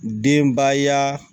Denbaya